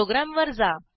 प्रोग्रॅमवर जा